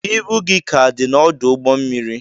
Ibu gị ka dị n'ọdụ ụgbọ mmiri